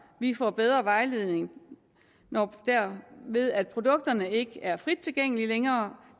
får bedre vejledning ved at produkterne ikke er frit tilgængelige længere